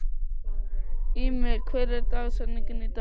Immý, hver er dagsetningin í dag?